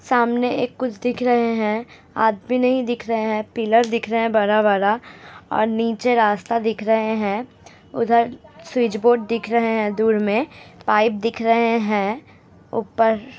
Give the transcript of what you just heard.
सामने एक कुछ दिख रहे हैं। आदमी नहीं दिख रहें हैं। पिलर दिख रहे हैं -बड़ा बड़ा और नीचे रास्ता दिख रहे हैं उधर स्विच बोर्ड दिख रहें हैं दूर में पाइप दिख रहें हैं ऊपर --